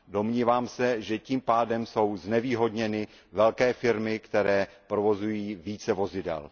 Domnívám se, že tím pádem jsou znevýhodněny velké firmy, které provozují více vozidel.